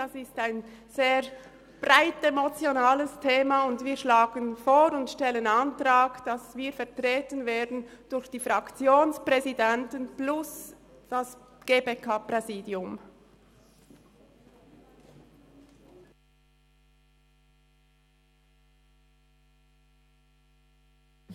Das ist ein sehr breites, emotionales Thema, und wir schlagen vor und stellen den Antrag, dass wir durch die Fraktionspräsidenten plus das GPK-Präsidium vertreten werden.